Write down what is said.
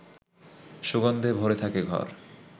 সুগন্ধে ভরে থাকে ঘর